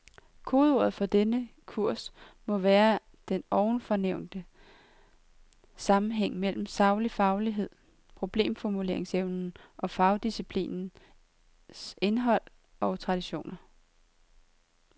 Kodeordet for denne kurs må være den ovenfor nævnte sammenhæng mellem saglig faglighed, problemformuleringsevnen og fagdisciplinernes indhold og traditioner.